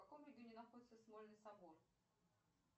в каком регионе находится смольный собор